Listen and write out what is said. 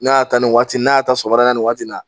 N'a y'a ta nin waati n'a y'a ta sɔgɔmada nin waati la